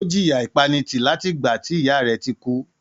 Ó jìyà ìpanitì láti ìgbà tí ìyá rẹ̀ ti kú.